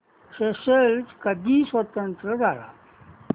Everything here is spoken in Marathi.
स्येशेल्स कधी स्वतंत्र झाला